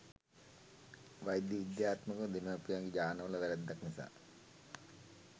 වෛද්‍ය විද්‍යාත්මකව දෙමව්පියන්ගේ ජාන වල වැරද්දක් නිසා